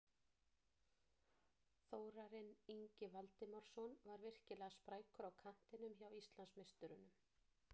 Þórarinn Ingi Valdimarsson var virkilega sprækur á kantinum hjá Íslandsmeisturunum.